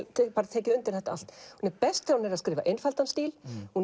tekið undir þetta allt hún er best þegar hún er að skrifa einfaldan stíl og